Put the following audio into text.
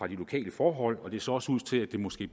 de lokale forhold og det ser også ud til at det måske